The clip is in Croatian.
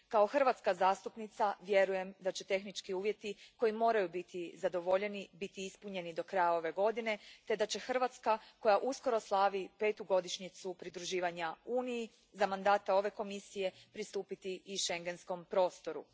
Kao hrvatska zastupnica vjerujem da će tehnički uvjeti koji moraju biti zadovoljeni biti ispunjeni do kraja ove godine te da će Hrvatska, koja uskoro slavi petu godišnjicu pridruživanja Uniji, za mandata ove Komisije pristupiti i schengenskom prostoru.